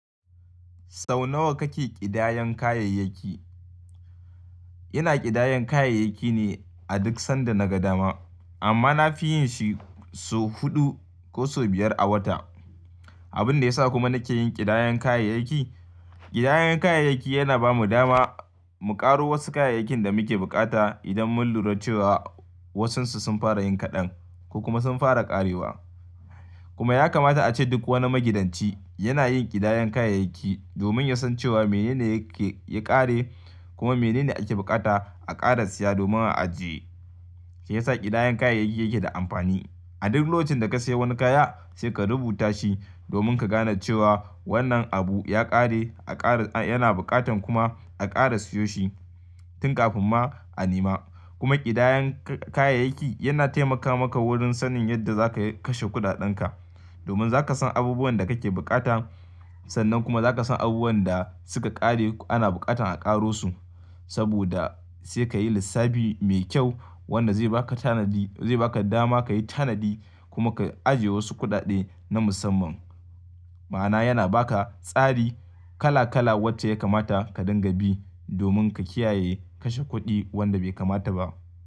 Sau nawa kake ƙidayan kayayyaki? Ina ƙidayan kayayyaki ne a duk sanda naga dama, amma na fi yin shi sau huɗu ko sau biyar a wata. Abin da ya sa kuma nake yin ƙidayan kayayyaki, ƙidayan kayayyaki yana ba mu dama mu ƙaro wasu kayayyakin da muke buƙata idan mun lura cewa wasu sun fara yin kaɗan ko kuma sun fara ƙarewa. Kuma ya kamata a ce duk wani magidanci yana yin ƙidayan kayayyaki domin ya san cewa mene ne yake ya ƙare kuma mene ne ake bukata a ƙara siya domin a ajiye. Shi ya sa ƙidayan kayayyaki yake da amfani. A duk lokacin da ka sayi wani kaya sai ka rubuta shi domin ka gane cewa wannan abu ya ƙare a ƙara yana buƙatan kuma a ƙara siyo shi tun kafin ma a nema. Kuma ƙidayan kayayyaki yana taimaka maka wurin sanin yadda za ka kashe kuɗaɗenka. Domin za ka san abubuwan da kake bukata sannan kuma za ka san abubuwan da suka ƙare ana buƙatan a ƙaro su. Saboda sai ka yi lissafi mai kyau wanda zai baka tanadi, zai baka dama ka yi tanadi kuma ka ajiye wasu kuɗaɗe na musamman. Ma'ana yana baka tsari kala kala wacce ya kamata ka dinga bi domin ka kiyaye kashe kuɗi wanda bai kamata ba.